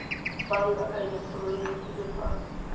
banka ka eleketeroniki le fa